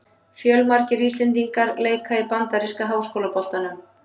Fjölmargir íslendingar leika í bandaríska háskólaboltanum.